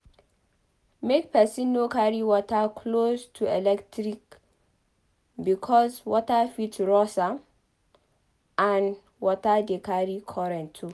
Make person no carry water close to electric because water fit rust am and water de carry current too